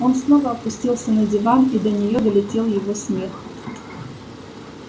он снова опустился на диван и до нее долетел его смех